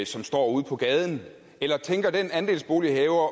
som står ude på gaden eller tænker den andelsbolighaver